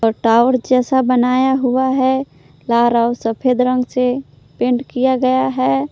और टावर जैसा बनाया हुआ है लाल और सफेद रंग से पेंट किया गया है।